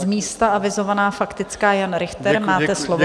Z místa avizovaná faktická Jan Richter, máte slovo.